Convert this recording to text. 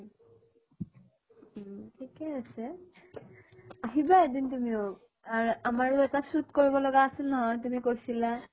উম । ঠিকেই আছে । আহিবা এদিন তুমিও আৰ আমাৰো এটা shoot কৰিব লগা আছিল নহয়, তুমি কৈছিলা ।